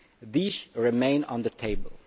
These remain on the table.